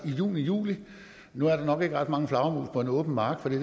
i juni og juli nu er der nok ikke ret mange flagermus på en åben mark for det